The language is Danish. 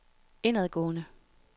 indadgående